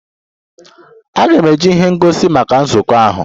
A ga-eji ihe ngosi maka nzukọ ahụ.